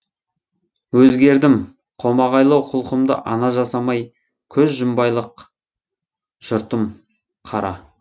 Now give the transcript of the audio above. өзгердім қомағайлау құлқымды ана жасамай көзжұмбайлық жұртым қара